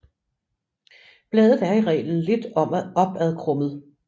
Bladet er i reglen lidt opadkrummet